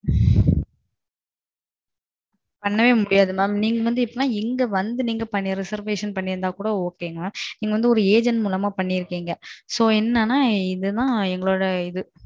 ஏதாது பாத்து பண்ணுங்க மாம் தைவசெஞ்சி எனக்கு வந்து. பண்ணவே முடியாது என நீங்க இங்க வந்து பண்ணிருந்தால் கூட Ok நீங்க வந்து Agent மூலமா பனிருக்கிங்க என்னனா இது தான் எங்களோட இது